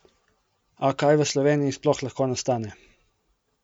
A kaj v Sloveniji sploh lahko nastane?